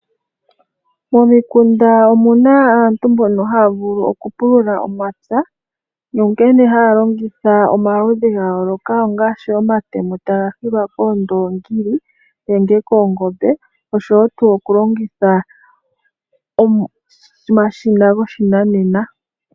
Momikunda omuna aantu mbono haya vulu oku pulula omapya nonkene haya longitha omaludhi ga yooloka ngaashi omatemo taga hilwa koondoongili nenge koongombe noshowo tuu oku longitha omashina goshinanena.